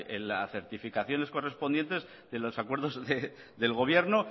en las certificaciones correspondientes de los acuerdos del gobierno